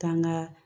Taa ŋaa